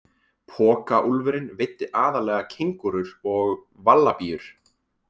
Pokaúlfurinn veiddi aðallega kengúrur og vallabíur.